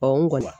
n kɔni